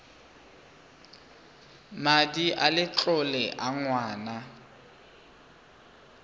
madi a letlole a ngwana